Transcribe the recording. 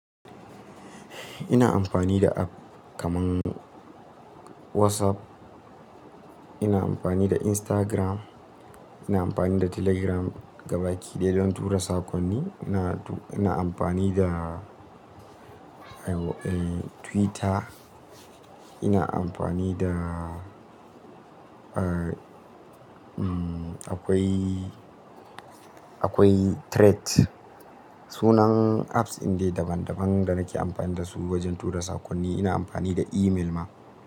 Ina amfani da app kaman WhatsApp, ina amfani da Instagram, ina amfani da Telegram gabaki ɗaya don tura sakonni. Ina, ina amfani da, eh, Twitter, ina amfani da, eh, umm, akwai, akwai Threads. Sunan apps indai daban daban da nake amfani da su wajen tura sakonni, ina amfani da email ma.